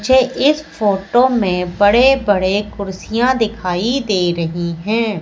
मुझे इस फोटो में बड़े बड़े कुर्सियां दिखाई दे रही हैं।